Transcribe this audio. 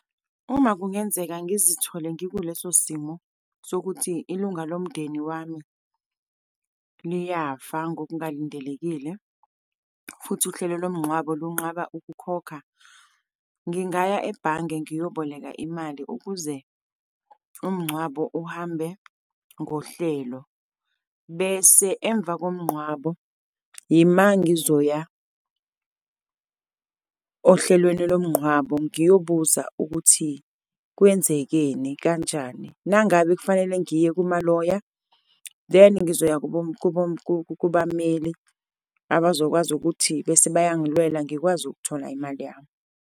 Uma kungenzeka ngizithole ngikuleso simo, sokuthi ilunga lomndeni wami liyafa ngokungalindelekile, futhi uhlelo lomngqwabo lunqaba ukukhokha, ngingaya ebhange ngiyoboleka imali ukuze umngcwabo uhambe ngohlelo, bese emva komngqwabo, yima ngizoya ohlelweni lomngqwabo, ngiyobuza ukuthi kwenzekeni, kanjani. Nangabe kufanele ngiye kuma-lawyer, then ngizoya kubameli abazokwazi ukuthi bese bayangilwela, ngikwazi ukuthola imali yami.